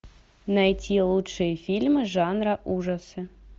найти лучшие фильмы жанра ужасы